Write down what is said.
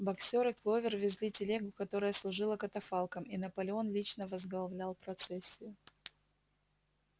боксёр и кловер везли телегу которая служила катафалком и наполеон лично возглавлял процессию